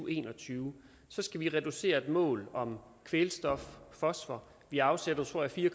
en og tyve skal vi reducere et mål for kvælstof fosfor vi afsatte tror jeg fire